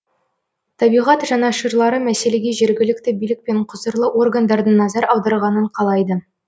табиғат жанашырлары мәселеге жергілікті билік пен құзырлы органдардың назар аударғанын қалайды